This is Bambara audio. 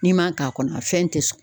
N'i m'a k'a kɔnɔ a fɛn tɛ sɔn